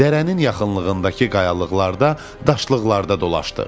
Dərənin yaxınlığındakı qayalıqlarda, daşlıqlarda dolaşdıq.